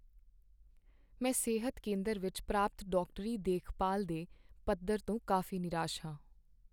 ਮੈਂ ਸਿਹਤ ਕੇਂਦਰ ਵਿੱਚ ਪ੍ਰਾਪਤ ਡਾਕਟਰੀ ਦੇਖਭਾਲ ਦੇ ਪੱਧਰ ਤੋਂ ਕਾਫ਼ੀ ਨਿਰਾਸ਼ ਹਾਂ।